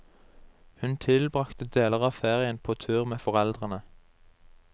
Hun tilbragte deler av ferien på tur med foreldrene.